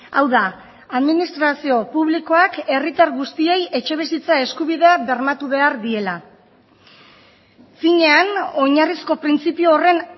hau da administrazio publikoak herritar guztiei etxebizitza eskubidea bermatu behar diela finean oinarrizko printzipio horren